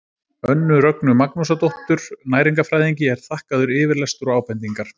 Önnu Rögnu Magnúsardóttur næringarfræðingi er þakkaður yfirlestur og ábendingar.